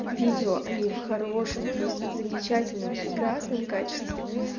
видео они в хорошем просто замечательном прекрасном качестве